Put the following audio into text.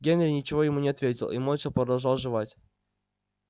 генри ничего ему не ответил и молча продолжал жевать